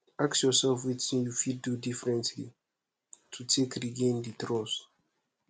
ask yourself wetin you fit do differently to take regain di trust